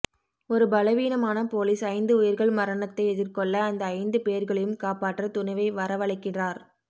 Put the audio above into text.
ஒரு பலவீனமான போலீஸ் ஐந்து உயிர்கள் மரணத்தை எதிர்கொள்ள அந்த ஐந்துபேர்களையும் காப்பாற்ற துணிவை வரவழைக்கிறார்